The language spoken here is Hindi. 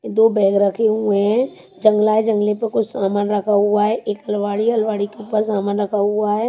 दो बैग रखे हुए हैं। जंगला जंगले पे कुछ सामान रखा हुआ है। एक अलवाडी है। अलवाड़ी के ऊपर सामान रखा हुआ है।